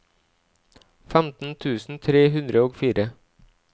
femten tusen tre hundre og fire